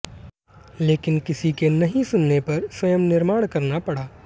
लेकिन किसी के नहीं सुनने पर स्वयं निर्माण करना पड़ा